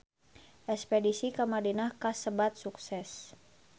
Espedisi ka Madinah kasebat sukses